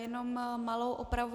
Jenom malou opravu.